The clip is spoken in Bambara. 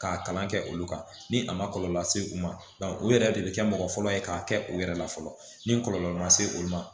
K'a kalan kɛ olu kan ni a ma kɔlɔlɔ lase u ma o yɛrɛ de bi kɛ mɔgɔ fɔlɔ ye k'a kɛ u yɛrɛ la fɔlɔ ni kɔlɔlɔ ma se olu ma